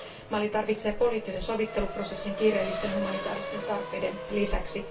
Mali tarvitsee poliittisen sovitteluprosessin kiireellisten humanitaaristen tarpeiden lisäksi.